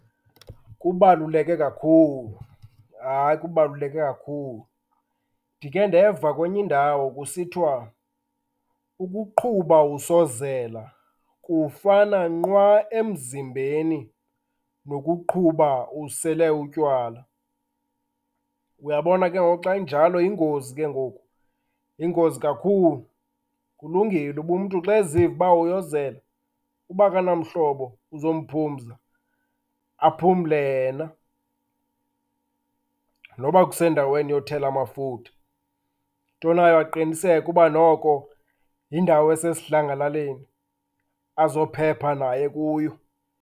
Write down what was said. Kubaluleke kakhulu, hayi, kubaluleke kakhulu. Ndikhe ndeva kwenye indawo kusithiwa ukuqhuba usozela kufana nkqwa emzimbeni nokuqhuba usele utywala. Uyabona ke ngoku xa injalo, yingozi ke ngoku, yingozi kakhulu. Kulungile uba umntu xa eziva uba uyozela, uba akanamhlobo uzomphumza, aphumle yena noba kusendaweni yothela amafutha. Into nayo aqiniseke uba noko yindawo esesidlangalaleni, azophepha naye kuyo.